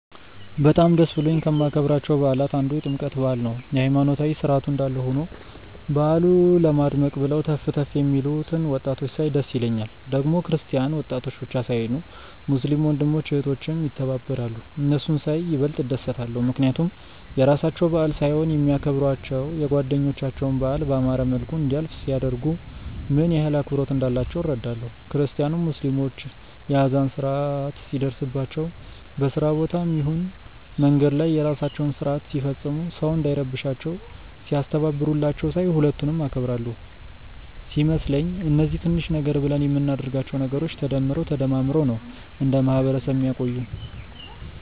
በጣም ደስ ብሎኝ ከማከብራቸው በዓላት አንዱ የጥምቀት በዓል ነው። የሃይማኖታዊ ስርዓቱ እንዳለ ሆኖ በዓሉ ለማድመቅ ብለው ተፍ ተፍ የሚሉትን ወጣቶች ሳይ ደስ ይለኛል። ደግሞ ክርስቲያን ወጣቶች ብቻ ሳይሆኑ ሙስሊም ወንድም እህቶችም ይተባበራሉ። እነሱን ሳይ ይበልጥ እደሰታለው፣ ምክንያቱም የራሳቸው በዓል ሳይሆን የሚያከብሯቸው የጓደኞቻቸውን በዓል ባማረ መልኩ እንዲያልፍ ሲያደርጉ፣ ምን ያህል አክብሮት እንዳላቸው እረዳለው። ክርስቲያኑም ሙስሊሞች የአዛን ሰአት ሲደርስባቸው በስራ ቦታም ይሁን መንገድ ላይ የራሳቸውን ስርአት ሲፈጽሙ ሰው እንዳይረብሻቸው ሲያስተባብሩላቸው ሳይ ሁለቱንም አከብራለው። ሲመስለኝ እነዚህ ትንሽ ነገር ብለን ምናደርጋቸው ነገሮች ተደምረው ተደማምረው ነው እንደ ማህበረሰብ ሚያቆዩን።